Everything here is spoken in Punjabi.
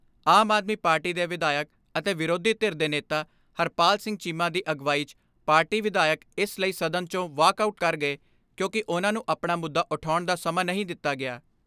ਆਮ ਆਦਮੀ ਪਾਰਟੀ ਦੇ ਵਿਧਾਇਕ ਅਤੇ ਵਿਰੋਧੀ ਧਿਰ ਦੇ ਨੇਤਾ ਹਰਪਾਲ ਸਿੰਘ ਚੀਮਾ ਦੀ ਅਗਵਾਈ 'ਚ ਪਾਰਟੀ ਵਿਧਾਇਕ ਇਸ ਲਈ ਸਦਨ 'ਚੋਂ ਵਾਕ ਆਊਟ ਕਰ ਗਏ ਕਿਉਂਕਿ ਉਨ੍ਹਾਂ ਨੂੰ ਆਪਣਾ ਮੁੱਦਾ ਉਠਾਉਣ ਦਾ ਸਮਾਂ ਨਹੀਂ ਦਿੱਤਾ ਗਿਆ।